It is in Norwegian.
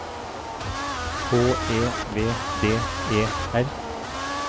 H E V D E R